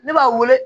Ne b'a wele